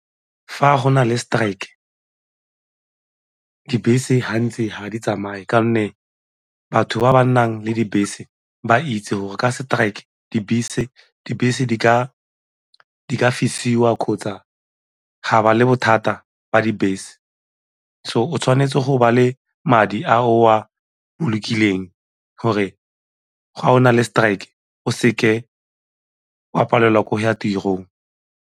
Fa go na le strike, dibese gantsi ga di tsamaye ka gonne batho ba ba nnang le dibese ba itse gore ka strike dibese di ka fisiwa kgotsa ga ba le bothata ba dibese. So, o tshwanetse go ba le madi a o a bolokileng gore ga o na le strike o seke wa palelwa ke go ya tirong.